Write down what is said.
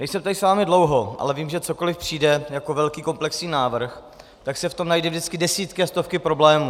Nejsem tady s vámi dlouho, ale vím, že cokoli přijde jako velký komplexní návrh, tak se v tom najdou vždycky desítky a stovky problémů.